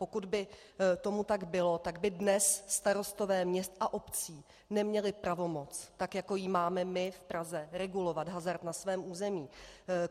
Pokud by tomu tak bylo, tak by dnes starostové měst a obcí neměli pravomoc, tak jako ji máme my v Praze, regulovat hazard na svém území.